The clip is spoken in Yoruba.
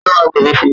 Ta ló máa gbẹ̀bi fun?